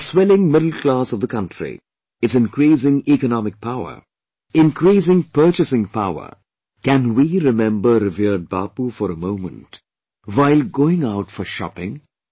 The swelling middle class of the country, its increasing economic power, increasing purchasing power; can we remember revered Bapu for a moment while going out for shopping